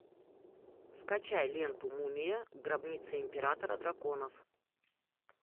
скачай ленту мумия гробница императора драконов